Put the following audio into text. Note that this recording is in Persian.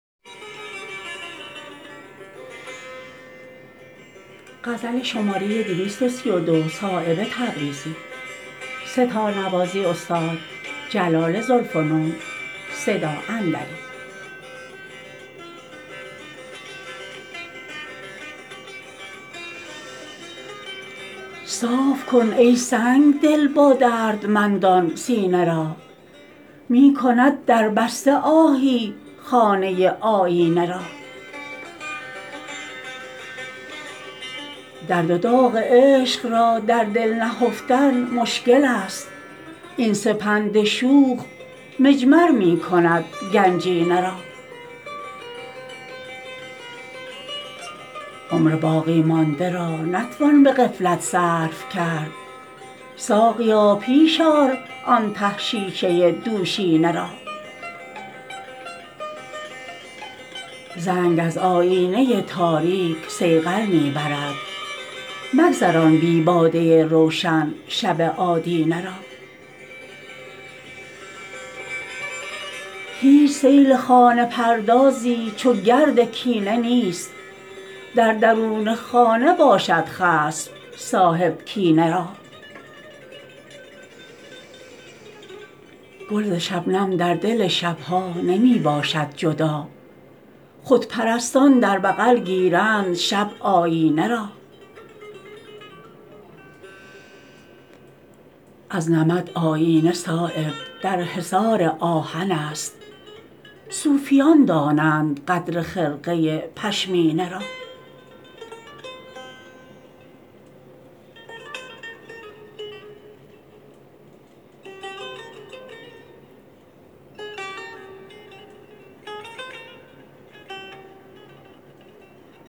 صاف کن ای سنگدل با دردمندان سینه را می کند دربسته آهی خانه آیینه را درد و داغ عشق را در دل نهفتن مشکل است این سپند شوخ مجمر می کند گنجینه را عمر باقی مانده را نتوان به غفلت صرف کرد ساقیا پیش آر آن ته شیشه دوشینه را زنگ از آیینه تاریک صیقل می برد مگذران بی باده روشن شب آدینه را هیچ سیل خانه پردازی چو گرد کینه نیست در درون خانه باشد خصم صاحب کینه را گل ز شبنم در دل شبها نمی باشد جدا خودپرستان در بغل گیرند شب آیینه را از نمد آیینه صایب در حصار آهن است صوفیان دانند قدر خرقه پشمینه را